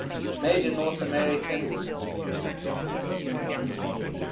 major north american